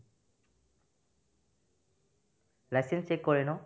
licence check কৰে ন ?